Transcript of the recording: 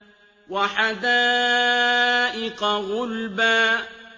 وَحَدَائِقَ غُلْبًا